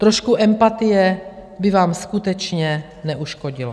Trošku empatie by vám skutečně neuškodilo.